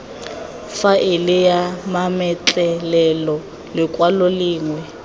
faele ya mametlelelo lekwalo lengwe